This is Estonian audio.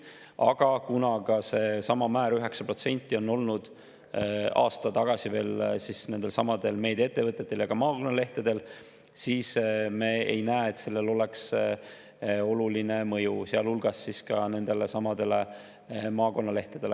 Aga kuna seesama määr, 9%, oli veel aasta tagasi nendelsamadel meediaettevõtetel ja ka maakonnalehtedel, siis me ei näe, et sellel oleks oluline mõju, sealhulgas nendelesamadele maakonnalehtedele.